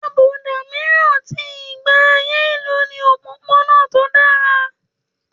Àbùdá mìíràn ti Ìgbé ayé ìlú ni òpópónà tó dára.